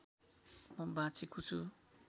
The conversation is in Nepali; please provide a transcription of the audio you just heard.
म बाँचेको छु